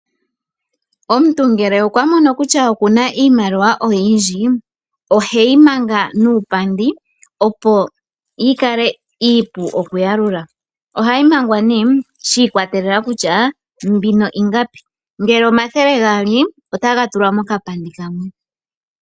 Omuntu ngele okwamono kutya okuna iimaliwa oyindji, oheyi manga muupandi, opo yikale iipu okuyalula. Ohayi mangwa nee shi ikwatelela kutya mbino ingapi, ngele omathele gaali, otaga tulwa mokapandi kamwe.